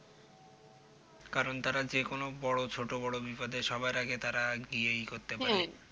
কারণ তারা যেকোনো বড়ো ছোট বড়ো বিপদে সবার আগে তারা গিয়ে করতে পারে হম